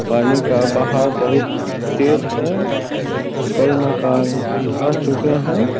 पानी का बहाव तेज है कई मकान ढाह चुके हैं ।